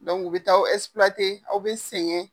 Dɔnku u bɛ taa aw bɛ sengɛn.